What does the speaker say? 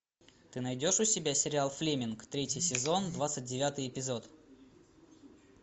ты найдешь у себя сериал флеминг третий сезон двадцать девятый эпизод